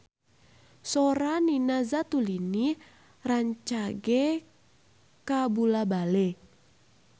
Sora Nina Zatulini rancage kabula-bale